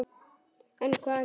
En, hvað nú?